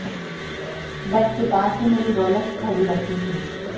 bed के पास ही मेरी रॉलेक्स घड़ी रखी थी